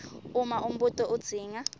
uma umbuto udzinga